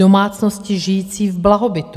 Domácnosti žijící v blahobytu.